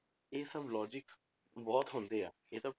ਇਹ ਸਭ logic ਬਹੁਤ ਹੁੰਦੇ ਆ ਇਹ ਸਭ